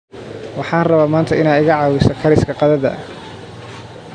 waxan raba manta Ina iga cawiso kariska qadhadha